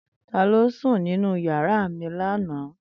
Tani o sun ninu yara mi lana?